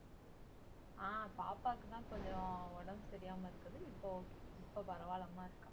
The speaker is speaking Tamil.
ஆஹ் பாப்பாக்குத்தான் கொஞ்சம் உடம்பு சரியில்லாம இருக்குது இப்ப okay இப்ப பரவாயில்லாம்மா இருக்கா